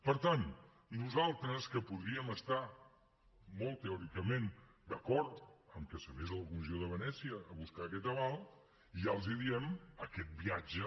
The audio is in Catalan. per tant nosaltres que podríem estar molt teòricament d’acord amb que s’anés a la comissió de venècia a buscar aquest aval ja els diem aquest viatge